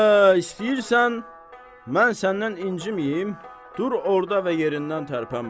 Hə, istəyirsən mən səndən inciməyim, dur orda və yerindən tərpənmə.